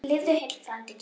Lifðu heill, frændi kær!